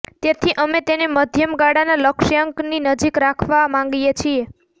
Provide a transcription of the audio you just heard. તેથી અમે તેને મધ્યમ ગાળાના લક્ષ્યાંકની નજીક રાખવા માંગીએ છીએ